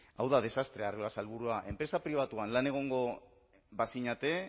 hau da desastrea arriola sailburua enpresa pribatuan lan egongo bazinete